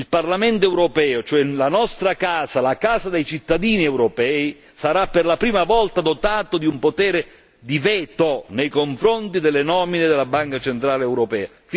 Il Parlamento europeo ossia la nostra Casa, la Casa dei cittadini europei sarà per la prima volta dotato di un potere di veto nei confronti delle nomine della Banca centrale europea.